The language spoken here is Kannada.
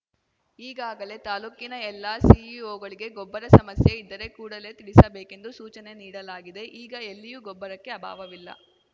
ಈಗಾಗಲೇ ತಾಲೂಕಿನ ಎಲ್ಲಾ ಸಿಇಒಗಳಿಗೆ ಗೊಬ್ಬರ ಸಮಸ್ಯೆ ಇದ್ದರೆ ಕೂಡಲೇ ತಿಳಿಸಬೇಕೆಂದು ಸೂಚನೆ ನೀಡಲಾಗಿದೆ ಈಗ ಎಲ್ಲಿಯೂ ಗೊಬ್ಬರಕ್ಕೆ ಅಭಾವವಿಲ್ಲ